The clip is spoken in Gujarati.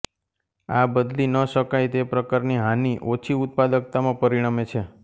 આ બદલી ન શકાય તે પ્રકારની હાનિ ઓછી ઉત્પાદકતામાં પરિણમે છે